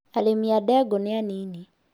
Arĩmi a ndegũ nĩ anini